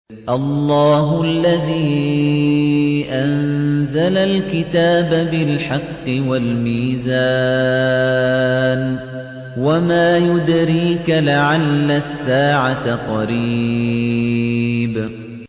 اللَّهُ الَّذِي أَنزَلَ الْكِتَابَ بِالْحَقِّ وَالْمِيزَانَ ۗ وَمَا يُدْرِيكَ لَعَلَّ السَّاعَةَ قَرِيبٌ